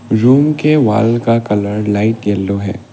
Room के wall का colour light yellow है।